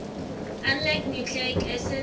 unlike nucleic acids